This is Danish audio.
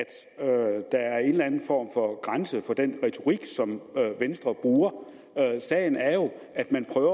der er en eller anden form for grænse for den retorik som venstre bruger sagen er jo at man prøver